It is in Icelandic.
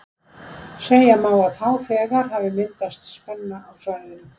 Segja má að þá þegar hafi myndast spenna á svæðinu.